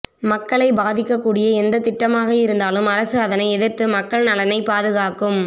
மக்களை பாதிக்கக்கூடிய எந்த திட்டமாக இருந்தாலும் அரசு அதனை எதிர்த்து மக்கள் நலனை பாதுகாக்கும்